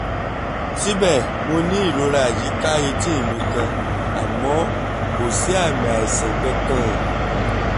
síbẹ̀ mo ní ìrora yí i ká etí mi kan àmọ́ kò sí àmì àìsàn kankan